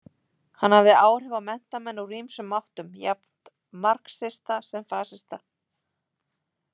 Hann hafði áhrif á menntamenn úr ýmsum áttum, jafnt marxista sem fasista.